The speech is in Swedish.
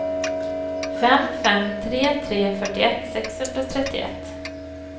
fem fem tre tre fyrtioett sexhundratrettioett